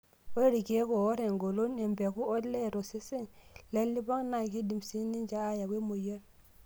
Ore ilkeek oor engolon empeku olee tosesen lelipong' naa keidim sii ninche aayau emoyian.